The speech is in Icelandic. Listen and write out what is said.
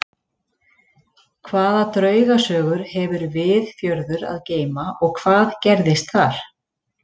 Hvaða draugasögur hefur Viðfjörður að geyma og hvað gerðist þar?